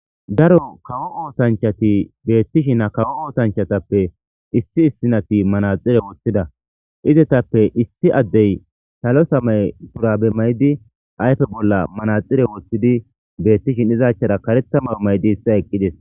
Daro kawo oosanchati beettishin a kawo oosanchatappe issi issinati manaxire woththida izetappe issi addey salo samay purabe maydi ayfe bolla manaxire woththidi beetti shinizachchara kareta mawo maydi ista eqqides.